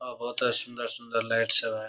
अ ओता सुंदर-सुंदर लाइट सब है।